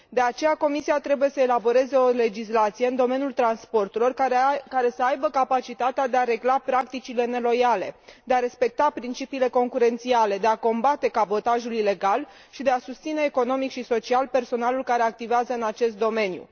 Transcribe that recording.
De aceea, Comisia trebuie să elaboreze o legislație în domeniul transporturilor care să aibă capacitatea de a regla practicile neloiale, de a respecta principiile concurențiale, de a combate cabotajul ilegal și de a susține economic și social personalul care activează în acest domeniu.